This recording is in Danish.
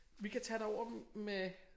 Vi kan tage derover med